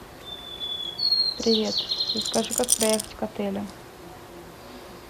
привет расскажи как проехать к отелю